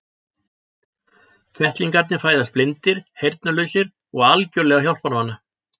Kettlingarnir fæðast blindir, heyrnarlausir og algjörlega hjálparvana.